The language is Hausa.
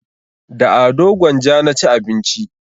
Da ado gwanja na ci abinci